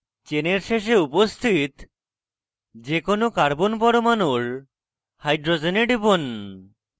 চেনের শেষে উপস্থিত যে কোনো carbon পরমাণুর hydrogen টিপুন